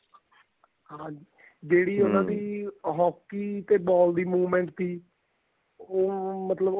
ਹਾਂਜੀ ਜਿਹੜੀ hockey ਤੇ ball ਦੀ movement ਤੀ ਉਹ ਮਤਲਬ ਉਹਨਾ ਦਾ